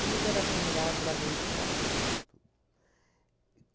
Tudo era aglomerado lá dentro de casa, tudo. E